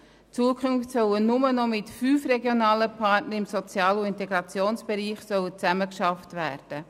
In Zukunft soll nur noch mit fünf Partnern im Sozial- und Integrationsbereich zusammengearbeitet werden.